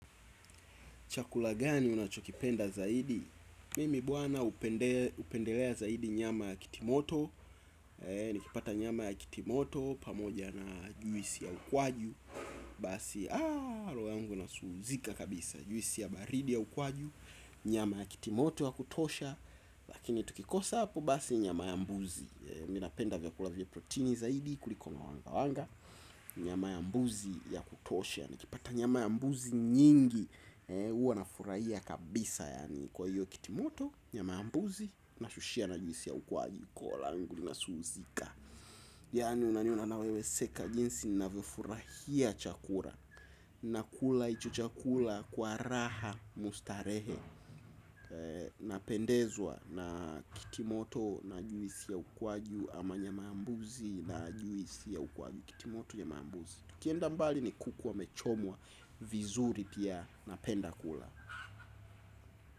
Chakula gani unachokipenda zaidi? Mimi bwana hupendelea zaidi nyama ya kitimoto. Nikipata nyama ya kitimoto pamoja na juisi ya ukwaju. Basi, roho yangu inasuzika kabisa. Juisi ya baridi ya ukwaju. Nyama ya kitimoto ya kutosha. Lakini tukikosa hapo basi nyama ya mbuzi. Mimi napenda vyakula vya proteini zaidi kuliko mawangawanga. Nyama ya mbuzi ya kutosha. Nikipata nyama ya mbuzi nyingi huwa nafurahia kabisa. Kwa hiyo kitimoto, nyama ya mbuzi nashushia na juisi ya ukwaju. Koo langu linasunzika. Yani unaniona na wewe seka jinsi ninavyofurahia chakula. Nakula hicho chakula kwa raha mustarehe. Napendezwa na kitimoto na juisi ya ukwaju ama nyama ya mbuzi na juisi ya ukwaju. Kitimoto nyama ya mbuzi. Tukienda mbali ni kuku wamechomwa vizuri pia napenda kula.